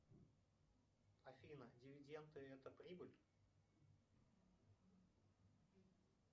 афина дивиденды это прибыль